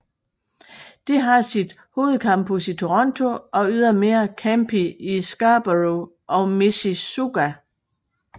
Det har sit hovedcampus i Toronto og ydermere campi i Scarborough og Mississauga